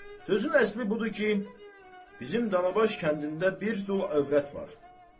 sözün əsli budur ki, bizim Dalabaş kəndində bir dul övrət var.